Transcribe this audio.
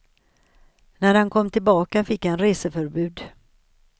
När han kom tillbaka fick han reseförbud.